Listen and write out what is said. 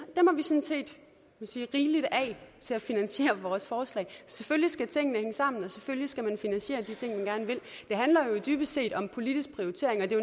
set rigeligt til at finansiere vores forslag selvfølgelig skal tingene hænge sammen og selvfølgelig skal man finansiere og det handler jo dybest set om politisk prioritering og der